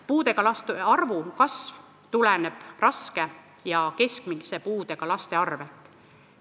Puudega laste arvu kasv tuleneb raske ja keskmise puudega laste arvu kasvust.